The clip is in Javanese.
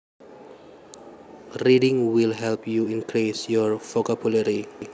Reading will help you increase your vocabulary